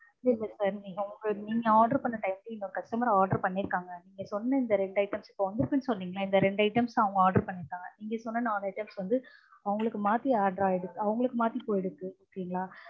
இல்ல sir நீங்க உங்க நீங்க order பண்ண time ல இன்னொரு customer order பண்ணியிருக்காங்க. நீங்க சொன்ன இந்த ரெண்டு items இப்போ வந்துருக்கு சொன்னிங்கல்ல இந்த ரெண்டு items அவங்க order பண்ணியிருக்காங்க. நீங்கள் சொன்ன நாலு items வந்து அவங்களுக்கு மாத்தி order ஆயிடு~ அவங்களுக்கு மாத்தி போயிடுச்சு okay ங்லா